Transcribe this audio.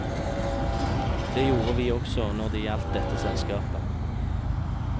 Det gjorde vi også når det gjaldt dette selskapet.